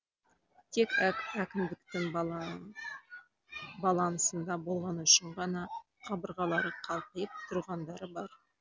тек әкімдіктің балансында болғаны үшін ғана қабырғалары қалқиып тұрғандары бар